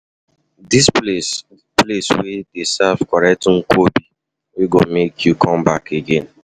Dis place place dey serve correct nkwobi wey go make you come back again.